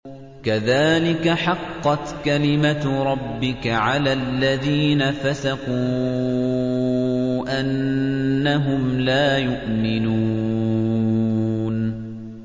كَذَٰلِكَ حَقَّتْ كَلِمَتُ رَبِّكَ عَلَى الَّذِينَ فَسَقُوا أَنَّهُمْ لَا يُؤْمِنُونَ